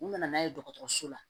U nana n'a ye dɔgɔtɔrɔso la